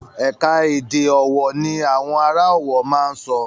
Ẹ̀ka-èdè ọ̀wọ̀ ní àwọn ará Ọ̀wọ̀ máa ń sọ.